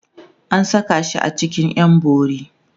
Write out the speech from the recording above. an Saka shi a cikin ƴan bori